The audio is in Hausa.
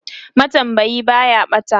matambayi Baya ɓata